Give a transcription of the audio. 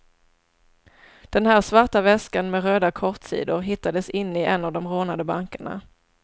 Den här svarta väskan med röda kortsidor hittades inne i en av de rånade bankerna.